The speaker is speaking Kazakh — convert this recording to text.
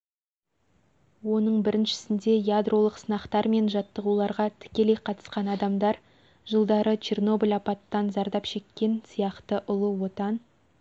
оның біріншісінде ядролық сынақтар мен жаттығуларға тікелей қатысқан адамдар жылдары чернобль апаттан зардап шеккендер сияқты ұлы отан